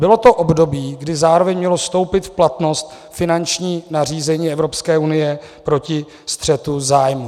Bylo to období, kdy zároveň mělo vstoupit v platnost finanční nařízení Evropské unie proti střetu zájmů.